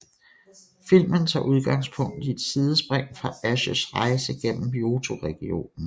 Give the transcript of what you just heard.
Filmen tager udgangspunkt i et sidspring fra Ashs rejse gennem Johto regionen